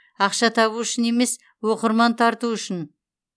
ақша табу үшін емес оқырман тарту үшін